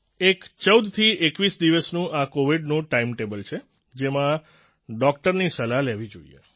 એક 14 થી 21 દિવસનું આ કોવિડનું ટાઈમટેબલ છે જેમાં ડોક્ટરની સલાહ લેવી જોઈએ